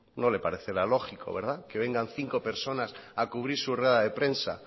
no le parecerá lógico que vengan cinco personas a cubrir su rueda de prensa